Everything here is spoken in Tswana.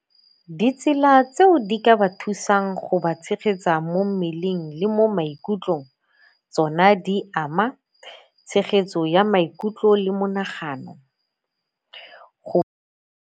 Ditsela tseo di ka ba thusang go ba tshegetsa mo mmeleng le mo maikutlong tsona di ama tshegetso ya maikutlo le mo monagano, go.